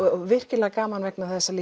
virkilega gaman vegna þess að